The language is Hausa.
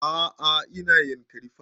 A'a ina yankari park